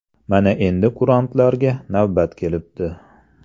Mana endi kurantlarga navbat kelibdi.